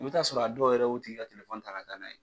I bɛ taa sɔrɔ a dɔw yɛrɛ y'o tigi ka ta ka taa n'a ye.